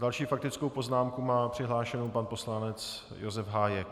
Další faktickou poznámku má přihlášenu pan poslanec Josef Hájek.